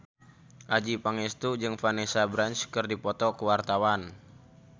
Adjie Pangestu jeung Vanessa Branch keur dipoto ku wartawan